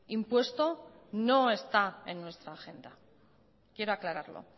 impuesto no está en nuestra agenda quiero aclararlo